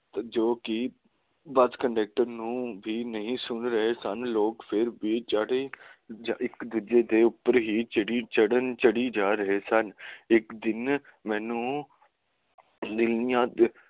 ਜੋ ਕਿ bus conductor ਨੂੰ ਵੀ ਨਹੀਂ ਸੁਨ ਰਹੇ ਸਨ ਲੋਕ ਫਿਰ ਵੀ ਇੱਕ ਦੂਜੇ ਦੇ ਉੱਪਰ ਹੀ ਚੜ੍ਹੀ ਜਾ ਰਹੇ ਸਨ ਇੱਕ ਦਿਨ ਮੈਨੂੰ ਇਹ ਯਾਦ